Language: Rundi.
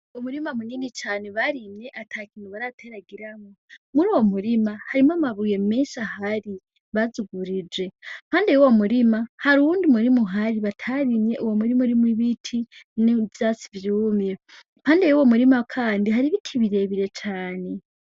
Umurima munini cane barimye atakintu barateragiramwo, muruwo murima harimwo amabuye menshi ahari bazugurije, iruhande wuwo murima hari uwundi murima uhari batarimye, umurima urimwo ibiti, n'ivyatsi vyumye, iruhande yuwo murima kandi hari ibiti birebire cane.